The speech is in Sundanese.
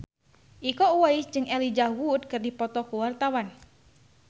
Iko Uwais jeung Elijah Wood keur dipoto ku wartawan